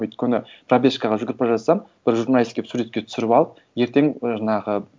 өйткені пробежкаға жүгіріп бара жатсам бір журналист келіп суретке түсіріп алып ертең жаңағы